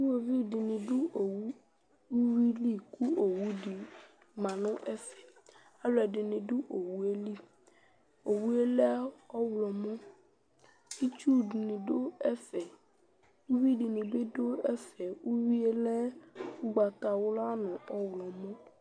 Iɣoviu dɩnɩ dʋ owu uyui li kʋ owu dɩ ma nʋ ɛfɛ Alʋɛdɩnɩ dʋ owu yɛ li Owu yɛ lɛ ɔɣlɔmɔ Itsu dɩnɩ dʋ ɛfɛ Uyui dɩnɩ bɩ dʋ ɛfɛ, uyui lɛ ʋgbatawla nʋ ɔɣlɔmɔ